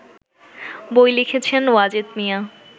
বই লিখেছেন ওয়াজেদ মিয়া